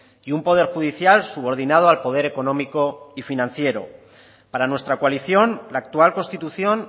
y un poder judicial subordinado al poder económico y financiero para nuestra coalición la actual constitución